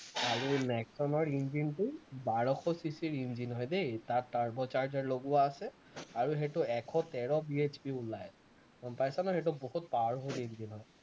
আৰু নেক্সনৰ ইঞ্জিনটো বাৰশ cc ৰ ইঞ্জিন হয় দেই তাত turbo charger লগোৱা আছে আৰু সেইটো এশ তেৰ BHP ওলায় আৰু গম পাইছা নহয়, সেইটো বহুত powerful ইঞ্জিন হয়